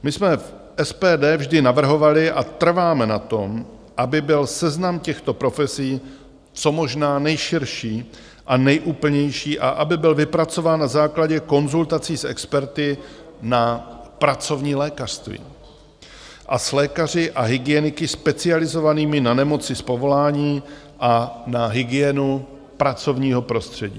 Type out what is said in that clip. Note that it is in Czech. My jsme v SPD vždy navrhovali a trváme na tom, aby byl seznam těchto profesí co možná nejširší a nejúplnější a aby byl vypracován na základě konzultací s experty na pracovní lékařství a s lékaři a hygieniky specializovanými na nemoci z povolání a na hygienu pracovního prostředí.